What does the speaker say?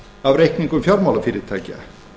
á reikningum fjármálafyrirtækja